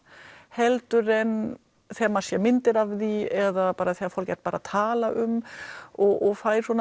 heldur en þegar maður sér myndir af því eða bara þegar fólk er að tala um og fær